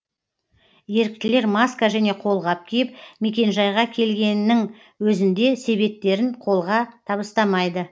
еріктілер маска және қолғап киіп мекенжайға келгенінің өзінде себеттерін қолға табыстамайды